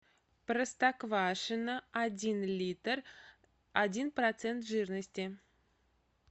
простоквашино один литр один процент жирности